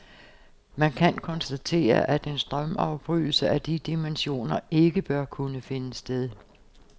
Man kan konstatere, at en strømafbrydelse af de dimensioner ikke bør kunne finde sted.